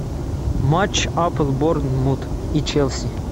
матч апл борнмут и челси